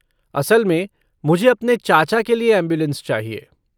असल में, मुझे अपने चाचा के लिए ऐम्बुलेन्स चाहिए।